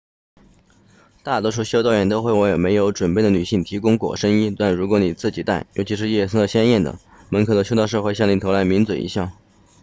大多数修道院都会为没有准备的女性提供裹身衣但如果你自己带尤其是颜色鲜艳的门口的修道士会向你投来抿嘴一笑